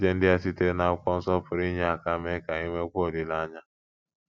Echiche ndị a sitere n’Akwụkwọ Nsọ pụrụ inye aka mee ka i nwekwuo olileanya: